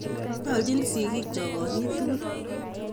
Nyaljin sigik chok konyit tukul